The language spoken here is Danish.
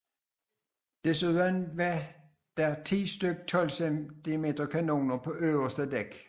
Desuden var der 10 styk 12 cm kanoner på det øverste dæk